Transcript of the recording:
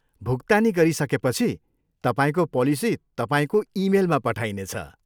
भुक्तानी गरिसकेपछि, तपाईँको पोलिसी तपाईँको इमेलमा पठाइनेछ।